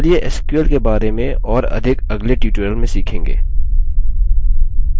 चलिए sql के बारे में और अधिक अगले tutorial में सीखेंगे